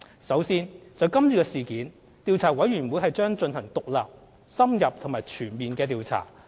首先，就是次事件，調查委員會將進行獨立、深入及全面的調查。